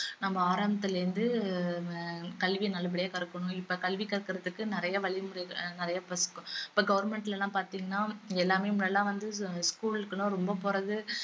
நம்ம ஆரம்பத்துல இருந்து அஹ் கல்வி நல்லபடியா கற்கணும் இப்ப கல்வி கற்கறதுக்கு நிறைய வழி முறைகள் நிறைய இப்ப government ல எல்லாம் பாத்தீங்கன்னா எல்லாமே முன்னாடியெல்லாம் வந்து school க்கு எல்லாம் ரொம்ப போறது